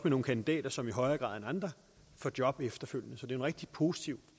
nogle kandidater som i højere grad end andre får job efterfølgende så det er en rigtig positiv